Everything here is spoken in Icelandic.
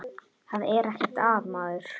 Það er ekkert að maður.